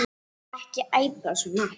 Og ekki æpa svona.